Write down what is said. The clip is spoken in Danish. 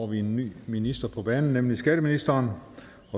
vi en ny minister på banen nemlig skatteministeren